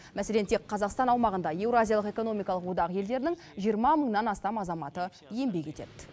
мәселен тек қазақстан аумағында еуразиялық экономикалық одақ елдерінің жиырма мыңнан астам азаматы еңбек етеді